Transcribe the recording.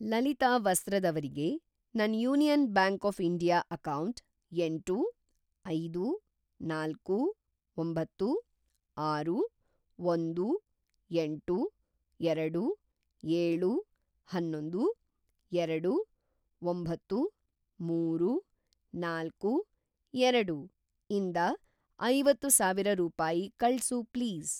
ಲಲಿತಾ ವಸ್ತ್ರದ್ ಅವ್ರಿಗೆ ನನ್‌ union bank of India account ಎಂಟು, ಐದು, ನಾಲ್ಕು, ಒಂಬತ್ತು, ಆರು, ಒಂದು, ಎಂಟು, ಎರಡು, ಎಳು, ಅನ್ನೊಂದು, ಎರಡು, ಒಂಬತ್ತು, ಮೂರು, ನಾಲ್ಕು, ಎರಡು ಇಂದ ಐವತ್ತು ಸಾವಿರ ರೂಪಾಯಿ ಕಳ್ಸು ಪ್ಲೀಸ್.